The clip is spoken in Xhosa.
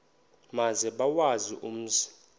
maze bawazi umzi